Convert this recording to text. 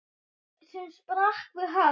sem sprakk við högg.